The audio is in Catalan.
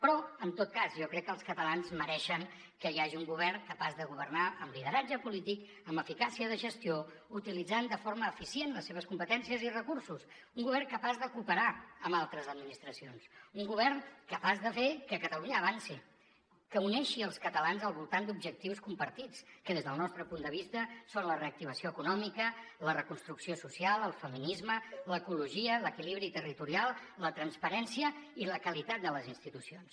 però en tot cas jo crec que els catalans mereixen que hi hagi un govern capaç de governar amb lideratge polític amb eficàcia de gestió utilitzant de forma eficient les seves competències i recursos un govern capaç de cooperar amb altres administracions un govern capaç de fer que catalunya avanci que uneixi els catalans al voltant d’objectius compartits que des del nostre punt de vista són la reactivació econòmica la reconstrucció social el feminisme l’ecologia l’equilibri territorial la transparència i la qualitat de les institucions